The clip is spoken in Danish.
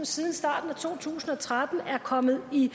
siden starten af to tusind og tretten er kommet i